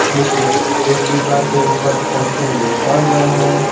नीचे एक डिब्बा के ऊपर फॉर्चून लिखा हुआ है।